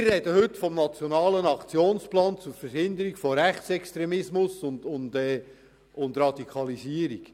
Wir sprechen heute vom nationalen Aktionsplan zur Verhinderung und Bekämpfung von Radikalisierung und gewalttätigem Extremismus.